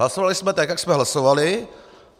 Hlasovali jsme tak, jak jsme hlasovali.